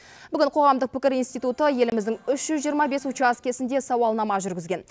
бүгін қоғамдық пікір институты еліміздің үш жүз жиырма бес учаскесінде сауалнама жүргізген